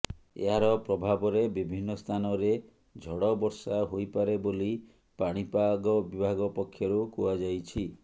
ଏହାର ପ୍ରଭାବରେ ବିଭିନ୍ନ ସ୍ଥାନରେ ଝଡ଼ବର୍ଷା ହୋଇପାରେ ବୋଲି ପାଣିପାଗ ବିଭାଗ ପକ୍ଷରୁ କୁହାଯାଇଛି